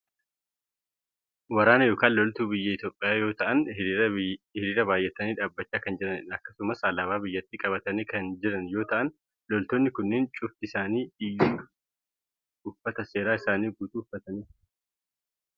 Waraana yookaan loltuu biyya Itoopiyaa yoo ta'an hiriiraa baayyatanii dhaabbachaa kan jiranidha. akkasumas alaabaa biyyattii qabatanii kan jiran yoo ta'an , loltoonni kunnen cufti isaanii iyyuu uffata seeraa isaanii guutuu uffatanii kan jiranidha.